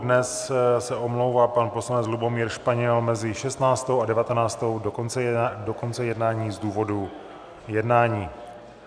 Dnes se omlouvá pan poslanec Lubomír Španěl mezi 16.00 a 19.00 do konce jednání z důvodu jednání.